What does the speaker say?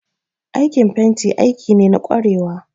Aikin fenti aiki ne na kwarewa